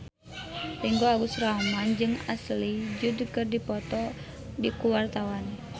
Ringgo Agus Rahman jeung Ashley Judd keur dipoto ku wartawan